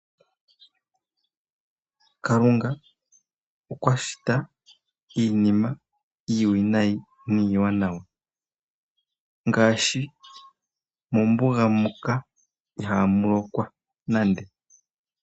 Kalunga okwashita iinima iiwinayi niiwanawa ngaashi, mombuga muka ihaamulokwa nande.